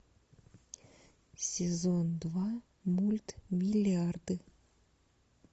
сезон два мульт миллиарды